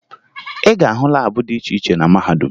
Ị ga-ahụ laabụ dị iche iche na mahadum